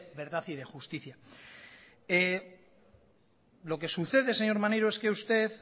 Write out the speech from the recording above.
verdad y de justicia lo que sucede señor maneiro es que usted